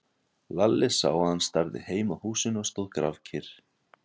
Lalli sá að hann starði heim að húsinu og stóð grafkyrr.